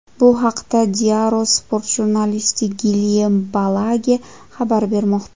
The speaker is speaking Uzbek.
Bu haqda Diario Sport jurnalisti Gilyem Balage xabar bermoqda .